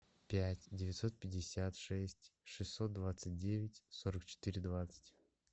пять девятьсот пятьдесят шесть шестьсот двадцать девять сорок четыре двадцать